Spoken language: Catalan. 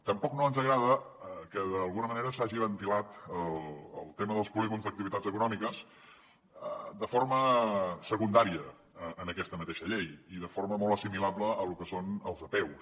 tampoc no ens agrada que d’alguna manera s’hagi ventilat el tema dels polígons d’activitats econòmiques de forma secundària en aquesta mateixa llei i de forma molt assimilable al que són les apeus